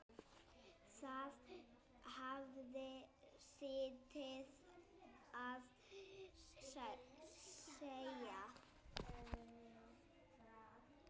Það hafði sitt að segja.